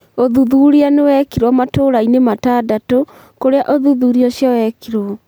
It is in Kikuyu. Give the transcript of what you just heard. Ũthuthuria nĩ wekirũo matũũra-inĩ matandatũ kũrĩa ũthuthuria ũcio wekirũo.